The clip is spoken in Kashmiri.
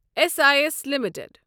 S I S limited